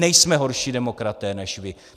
Nejsme horší demokraté než vy.